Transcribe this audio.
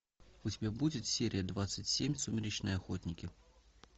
у тебя будет серия двадцать семь сумеречные охотники